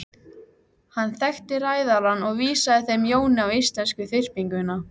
Hann þekkti ræðarann og vísaði þeim Jóni á íslensku þyrpinguna.